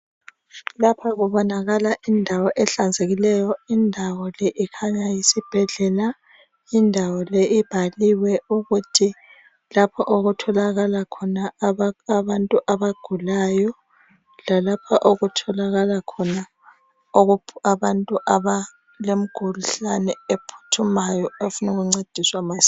Lapho kubonakala indawo ehlanzekileyo indawo le ikhanya yisibhedlela indawo le ibhaliwe ukuthi lapho okutholakala khona abantu abagulayo lalapha okutholakala khona abantu abalemkhuhlane ephuthumayo abafunwa ukuncediswa masinya.